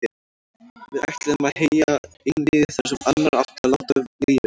Við ætluðum að heyja einvígi þar sem annar átti að láta lífið.